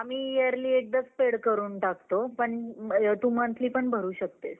आम्ही Yearly एकदाच pay करून टाकतो. पण तू monthly पण भरू शकतेस.